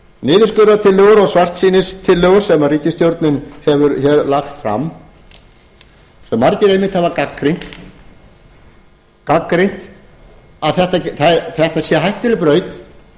niðurskurðartillögur og svartsýnistillögur sem ríkisstjórnin hefur hér lagt fram sem margir einmitt hafa gagnrýnt gagnrýnt að þetta sé hættuleg braut